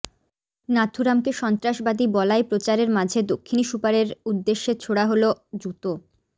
নাথুরামকে সন্ত্রাসবাদী বলায় প্রচারের মাঝে দক্ষিণী সুপারের উদেশ্যে ছোঁড়া হল জুতো